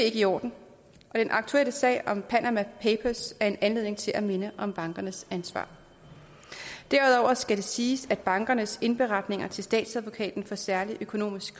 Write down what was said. ikke i orden og den aktuelle sag om panama papers er en anledning til at minde om bankernes ansvar derudover skal vi sige at bankernes indberetninger til statsadvokaten for særlig økonomisk